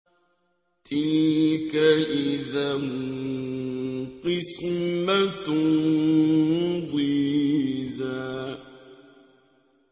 تِلْكَ إِذًا قِسْمَةٌ ضِيزَىٰ